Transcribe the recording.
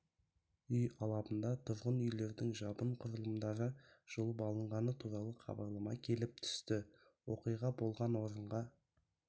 үй алабында тұрғын үйлердің жабын құрылымдары жұлып алынғаны туралы хабарлама келіп түсті оқиға болған орынға